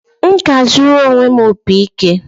M ga-azụrụ onwe m opị ike